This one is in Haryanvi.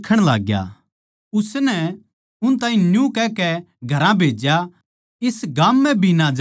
उसनै उस ताहीं न्यू कहकै घरां भेज्या इस गाम म्ह भी ना जाइये